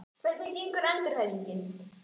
Hvernig gengur endurhæfingin?